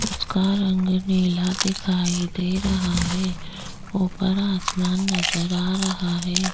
उसका रंग नीला दिखाई दे रहा है ऊपर आसमान नज़र आ रहा है।